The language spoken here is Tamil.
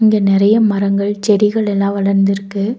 இங்க நெறைய மரங்கள் செடிகள் எல்லா வளந்திருக்கு.